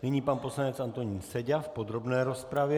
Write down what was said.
Nyní pan poslanec Antonín Seďa v podrobné rozpravě.